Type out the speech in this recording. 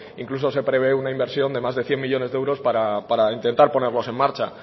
incluso se prevé una inversión de más de cien millónes de euros para intentar ponerlos en marcha